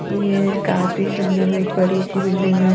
ये काफी सुंदर एक बड़ी सी बिल्डिंग है।